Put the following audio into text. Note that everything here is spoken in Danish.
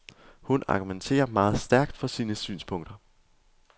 Hun argumenterer meget stærkt for sine synspunkter.